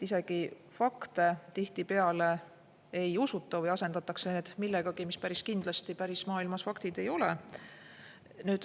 Isegi fakte tihtipeale ei usuta või asendatakse need millegagi, mis kohe kindlasti päris maailmas faktid ei ole.